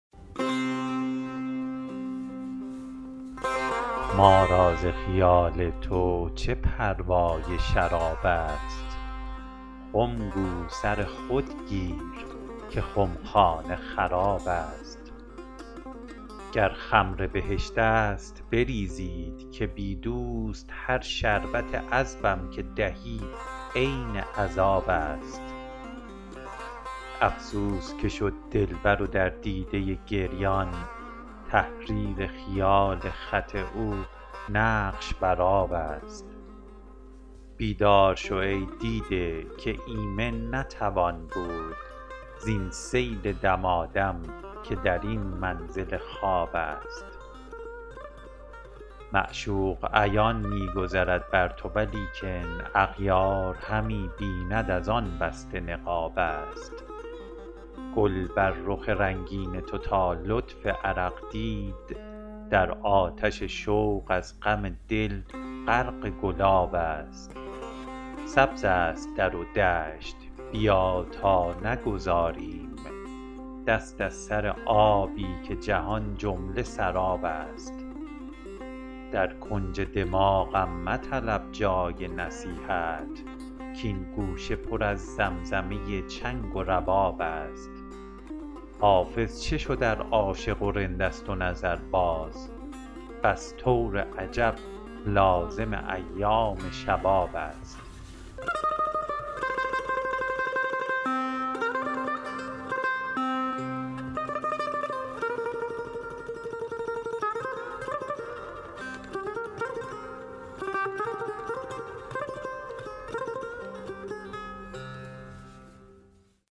ما را ز خیال تو چه پروای شراب است خم گو سر خود گیر که خمخانه خراب است گر خمر بهشت است بریزید که بی دوست هر شربت عذبم که دهی عین عذاب است افسوس که شد دلبر و در دیده گریان تحریر خیال خط او نقش بر آب است بیدار شو ای دیده که ایمن نتوان بود زین سیل دمادم که در این منزل خواب است معشوق عیان می گذرد بر تو ولیکن اغیار همی بیند از آن بسته نقاب است گل بر رخ رنگین تو تا لطف عرق دید در آتش شوق از غم دل غرق گلاب است سبز است در و دشت بیا تا نگذاریم دست از سر آبی که جهان جمله سراب است در کنج دماغم مطلب جای نصیحت کـ این گوشه پر از زمزمه چنگ و رباب است حافظ چه شد ار عاشق و رند است و نظرباز بس طور عجب لازم ایام شباب است